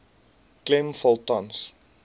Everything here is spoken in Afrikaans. klem val tans